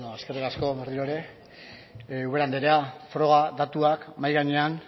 eskerrik asko berriro ere ubera andrea froga datuak mahai gainean